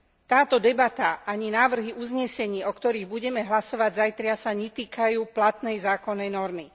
Táto debata ani návrhy uznesení, o ktorých budeme hlasovať zajtra, sa netýkajú platnej zákonnej normy.